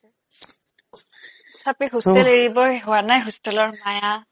সঁচাকে hostel এৰিবই হোৱা নাই hostel ৰ মায়া